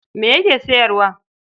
Ma yake sayarwa?